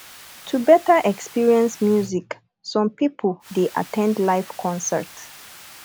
to better experience music some pipo dey at ten d live concert